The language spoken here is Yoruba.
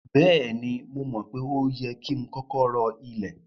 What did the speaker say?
Bẹ́ẹ̀ni, mo mọ̀ pé o yẹ ki n kọkọ rọ ilẹ̀.